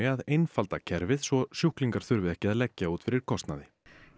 að einfalda kerfið svo sjúklingar þurfi ekki að leggja út fyrir kostnaði